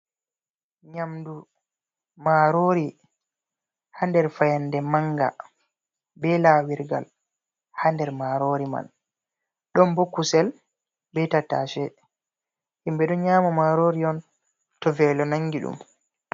Nyamdu marori ha nder fayande manga be lanyirgal ha nder marori man, ɗon bo kusel be tattashe himɓe ɗon nyama marori on to velo nangi ɗum.